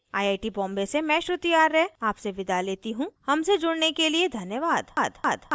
I I T Bombay से मैं श्रुति आर्य आपसे विदा लेती हूँ हमसे जुड़ने के लिए धन्यवाद